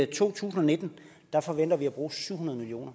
to tusind og nitten forventer vi at bruge syv hundrede million